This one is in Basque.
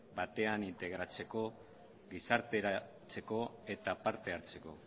batean integratzeko gizarteratzeko eta parte hartzeko